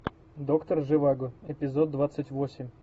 доктор живаго эпизод двадцать восемь